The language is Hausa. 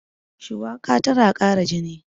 shuwaka tana Kara jini